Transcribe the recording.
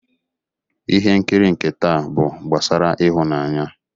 Ihe nkiri nke taa bụ gbasara ịhụnanya.